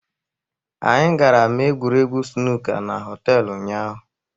Anyị gara mee egwuregwu sunuka na họtelụ ụnyaahụ.